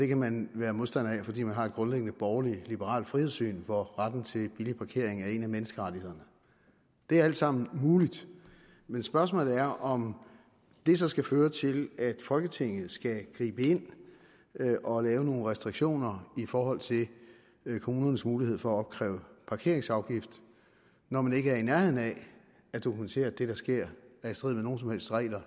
kan man være modstander af fordi man har et grundlæggende borgerlig liberalt frihedssyn hvor retten til billig parkering er en af menneskerettighederne det er alt sammen muligt men spørgsmålet er om det så skal føre til at folketinget skal gribe ind og lave nogle restriktioner i forhold til kommunernes mulighed for at opkræve parkeringsafgifter når man ikke er i nærheden af at dokumentere at det der sker er i strid med nogen som helst regler